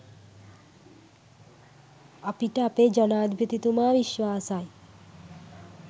අපිට අපේ ජනාධිපතිතුමා විශ්වාසයි.